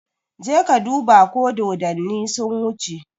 Je ka duba ko dodanni sun wuce!